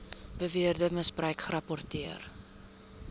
beweerde misbruik gerapporteer